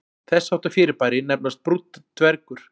Þess háttar fyrirbæri nefnast brúnn dvergur.